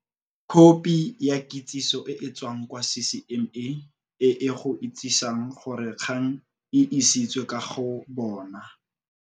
Khopi ya kitsisiso e e tswang kwa CCMA e e go itsisang gore kgang e isitswe ka go bona,